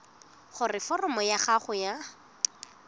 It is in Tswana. gore foromo ya gago ya